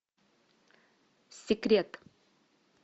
секрет